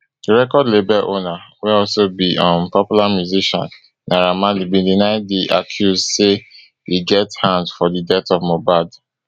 di record label owner wey also be um popular musician naira marley bin deny di accuse say e get hand for di death of mohbad